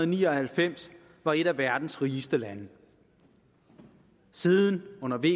ni og halvfems var et af verdens rigeste lande siden har vi